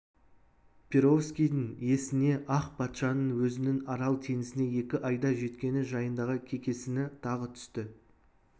перовскийдің есіне ақ патшаның өзінің арал теңізіне екі айда жеткені жайындағы кекесіні тағы түсті